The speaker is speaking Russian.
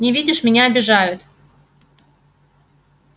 не видишь меня обижают